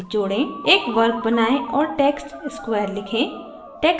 एक वर्ग बनाएं और text square लिखें